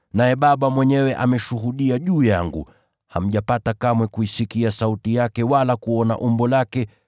Naye Baba mwenyewe ameshuhudia juu yangu. Hamjapata kamwe kuisikia sauti yake wala kuona umbo lake,